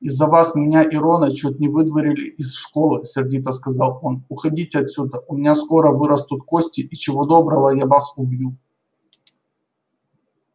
из-за вас меня и рона чуть не выдворили из школы сердито сказал он уходите отсюда у меня скоро вырастут кости и чего доброго я вас убью